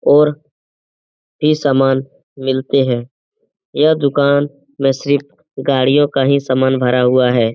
और भी समान मिलते हैं यह दुकान में सिर्फ गाड़ियों का ही समान भरा हुआ है।